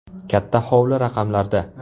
Katta hovli raqamlarda.